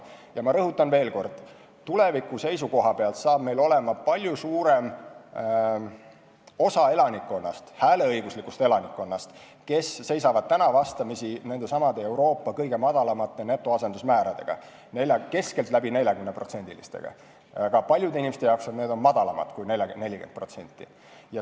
Ja rõhutan veel kord: tulevikus on meil palju suurem osa hääleõiguslikust elanikkonnast, kes seisavad vastamisi nendesamade Euroopa kõige madalamate netoasendusmääradega, keskeltläbi 40%-ga, aga paljudel inimestel on see vähem kui 40%.